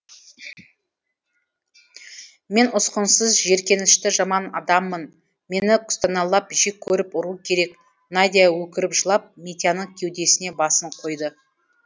мен ұсқынсыз жиіркенішті жаман адаммын мені күстәналап жек көріп ұру керек надя өкіріп жылап митяның кеудесіне басын қойды